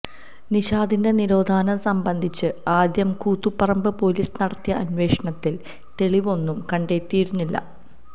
നിഷാദിന്റെ തിരോധാനം സംബന്ധിച്ച് ആദ്യം കൂത്തുപറമ്പ് പോലീസ് നടത്തിയ അന്വേഷണത്തിൽ തെളിവൊന്നും കണ്ടെത്തിയിരുന്നില്ല